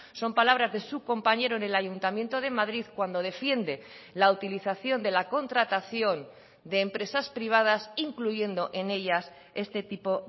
son palabras de su compañero en el ayuntamiento de madrid cuando defiende la utilización de la contratación de empresas privadas incluyendo en ellas este tipo